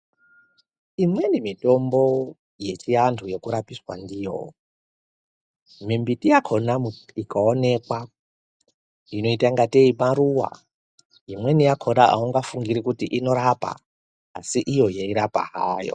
Imweni mitombo yechiandu yekurapisa ndiyo, mimbiti yakona ikaonekwa inoita ngatei maruwa, imweni yakona auifungire kuti unorapa asi iyo yeirapa hayo.